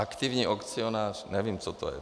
Aktivní akcionář - nevím, co to je.